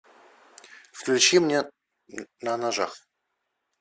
включи мне на ножах